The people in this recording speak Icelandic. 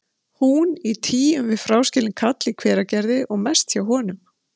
Hún í tygjum við fráskilinn kall í Hveragerði og mest hjá honum.